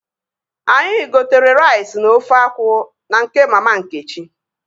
Anyị gotere rais na ofe akwụ na nke mama Nkechi